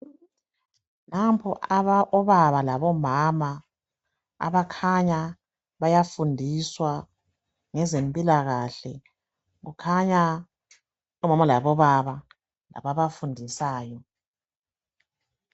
Nampo obaba labomama abakhanya bayafundiswa ngezempilakahle .Kukhanya omama labobaba ababafundisayo .